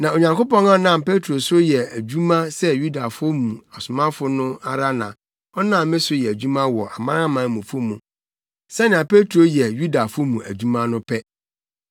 Na Onyankopɔn a ɔnam Petro so yɛ adwuma sɛ Yudafo mu somafo no ara na ɔnam me so yɛ adwuma wɔ amanamanmufo mu, sɛnea Petro yɛ Yudafo mu adwuma no pɛ.